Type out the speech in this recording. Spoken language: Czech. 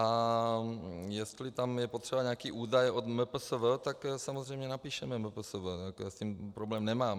A jestli je tam potřeba nějaký údaj od MPSV, tak samozřejmě napíšeme MPSV, já s tím problém nemám.